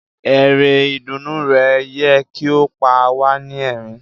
Eré ìdùnnú rẹ yẹ ki o pa wa ni ẹrín.